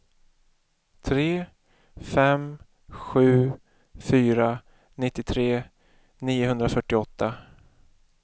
tre fem sju fyra nittiotre niohundrafyrtioåtta